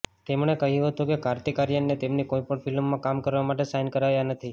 તેમણે કહ્યું હતું કે કાર્તિક આર્યનને તેમની કોઈપણ ફિલ્મમાં કામ કરવા માટે સાઇન કરાયા નથી